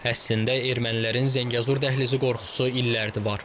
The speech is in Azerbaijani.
Əslində ermənilərin Zəngəzur dəhlizi qorxusu illərdir var.